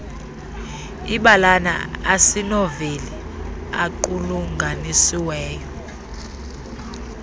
ibalana asinoveli equlunganisiweyo